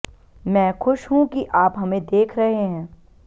मैं खुश हूं कि आप हमें देख रहे हैं